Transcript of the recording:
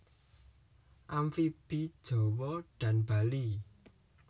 Amfibi Jawa dan Bali